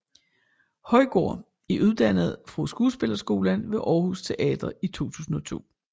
Højgaard er uddannet fra skuespillerskolen ved Aarhus Teater i 2002